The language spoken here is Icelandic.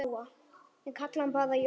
Ég kalla hann bara Jóa.